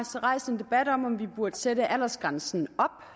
rejst en debat om om vi burde sætte aldersgrænsen op